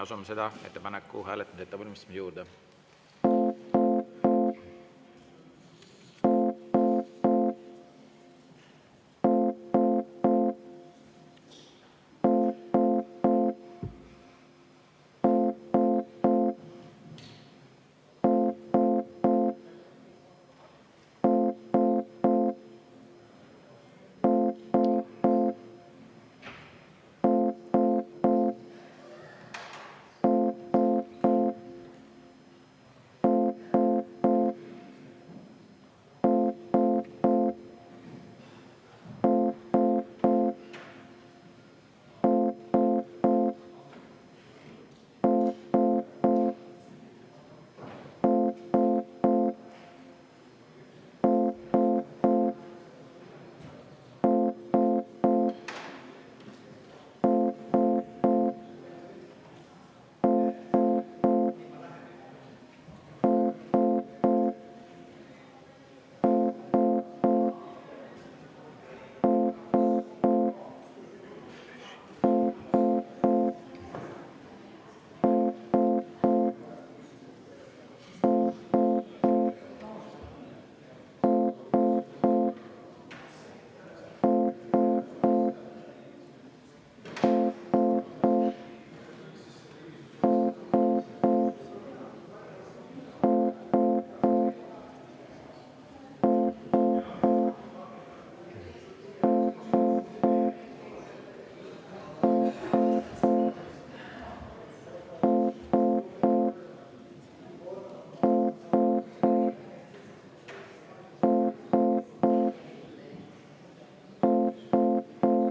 Asume selle ettepaneku hääletamise ettevalmistamise juurde.